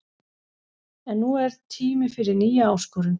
En nú er tími fyrir nýja áskorun.